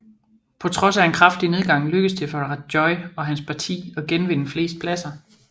På trods af en kraftig nedgang lykkedes det for Rajoy og hans parti at genvinde flest pladser